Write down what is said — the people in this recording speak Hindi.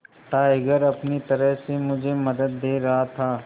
टाइगर अपनी तरह से मुझे मदद दे रहा था